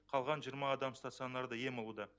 қалған жиырма адам стационарда ем алуда